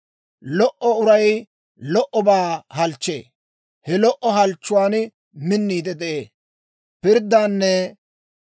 Lo"o uray lo"obaa halchchee; he lo"o halchchuwan minniide de'ee.